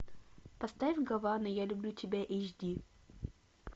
поставь гавана я люблю тебя эйч ди